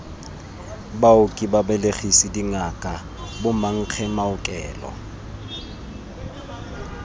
baoki babelegisi dingaka bomankge maokelo